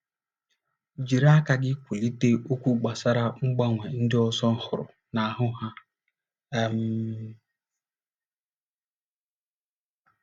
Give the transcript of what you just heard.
Jiri aka gị kwulite okwu gbasara mgbanwe ndị ọzọ hụrụ n’ahụ́ ha um.